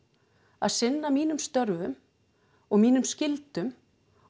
að sinna mínum störfum og mínum skyldum og